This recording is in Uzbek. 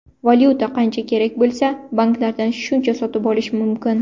Valyuta qancha kerak bo‘lsa, banklardan shuncha sotib olish mumkin.